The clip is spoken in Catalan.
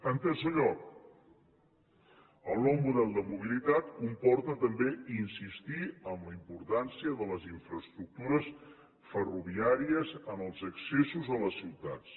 en tercer lloc el nou model de mobilitat comporta també insistir en la importància de les infraestructures ferroviàries en el accessos a les ciutats